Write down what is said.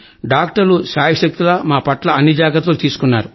డాక్టర్లు శాయశక్తుల మాపట్ల అన్ని జాగ్రత్తలు తీసుకున్నారు